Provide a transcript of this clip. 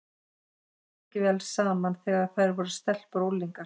Þeim kom ekki svo vel saman þegar þær voru stelpur og unglingar.